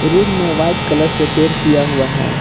Room में white colour से paint किया हुआ है।